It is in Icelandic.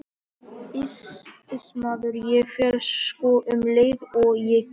Iss maður, ég fer sko um leið og ég get.